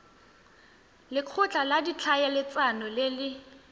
lekgotla la ditlhaeletsano le le